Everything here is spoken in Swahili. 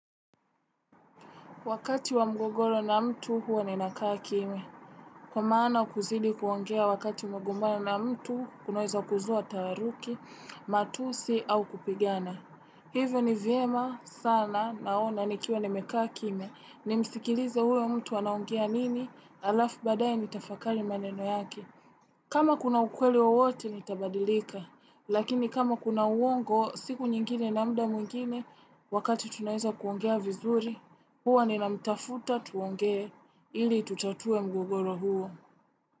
Wakati wa mgogoro na mtu huwa ninakaa kimya. Kwa maana kuzidi kuongea wakati umegombana na mtu, kunaweza kuzua taaruki, matusi au kupigiana. Hivyo ni vyema sana naona nikiwa nimekaa kimya. Nimsikilize huyo mtu anaongea nini, alafu baadaye nitafakari maneno yake. Kama kuna ukweli wowote, nitabadilika. Lakini kama kuna uongo, siku nyingine na muda mwingine wakati tunaeza kuongea vizuri. Huwa ninamtafuta tuongee ili tutatue mgogoro huo.